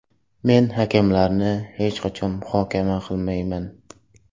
Men hakamlarni hech qachon muhokama qilmayman.